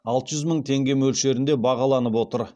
алты жүз мың теңге мөлшерінде бағаланып отыр